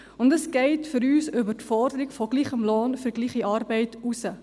Für uns geht dies über die Forderung nach gleichem Lohn für gleiche Arbeit hinaus.